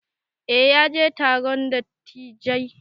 Eh ya je taron dattijai.